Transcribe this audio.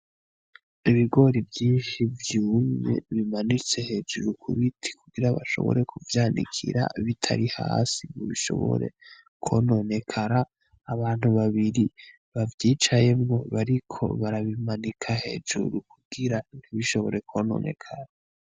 Ibigori vyinshi vyumye bimanitse hejuru ku biti kugira bashobore kuvyanikira bitari hasi bishobore kwononekara abantu babiri bavyicayemwo bariko barabimanika hejuru kugira ntibishobore kwononekara.